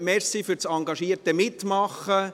Danke für das engagierte Mitmachen.